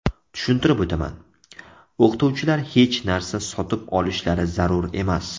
Tushuntirib o‘taman: o‘qituvchilar hech narsa sotib olishlari zarur emas.